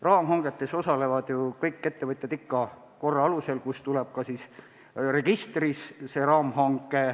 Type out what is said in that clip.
Raamhangetes osalevad ju kõik ettevõtjad ikka korra alusel ja osaleda tuleb registris.